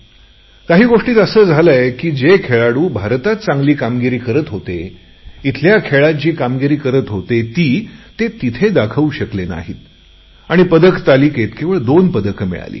काही गोष्टीत असे झाले आहे की जे खेळाडू भारतात चांगली कामगिरी करत होते येथील खेळात जी कामगिरी करत होते ते तिथे दाखवू शकले नाही आणि पदक तालिकेत केवळ दोन पदके मिळाली